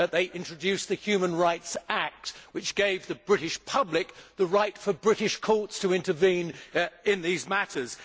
They introduced the Human Rights Act, which gave the British public the right for British courts to intervene in these matters.